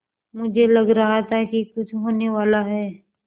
मुझे लग रहा था कि कुछ होनेवाला है